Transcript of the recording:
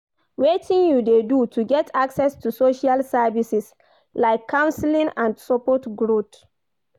Wetin you dey do to get access to social services, like counseling and support growth.